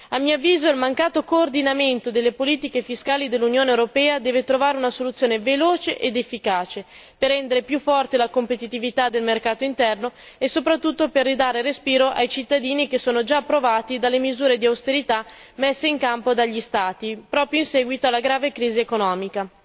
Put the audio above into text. A mio avviso, il mancato coordinamento delle politiche fiscali dell'Unione europea deve trovare una soluzione veloce ed efficace per rendere più forte la competitività del mercato interno e soprattutto per ridare respiro ai cittadini che sono già provati dalle misure di austerità messe in campo dagli Stati, proprio in seguito alla grave crisi economica,